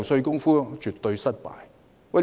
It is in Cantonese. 這絕對是失敗。